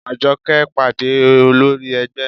Àjọkẹ́ pàdé olórí ẹgbẹ́